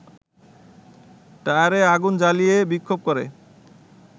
টায়ারে আগুন জ্বালিয়ে বিক্ষোভ করে